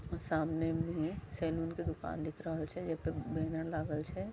सामने में सैलून के दुकान दिख रहल छै जे पर बैनर लागल छै।